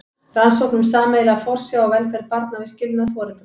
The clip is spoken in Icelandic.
Rannsókn um sameiginlega forsjá og velferð barna við skilnað foreldra.